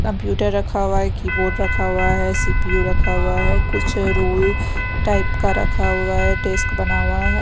Computer रखा हुआ है कीबोर्ड रखा हुआ है सी_पी_यू रखा हुआ है कुछ रोल टाइप का रखा हुआ है डेस्क बना हुआ है।